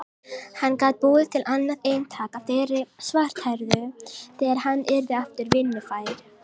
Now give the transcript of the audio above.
Hann gat búið til annað eintak af þeirri svarthærðu þegar hann yrði aftur vinnufær.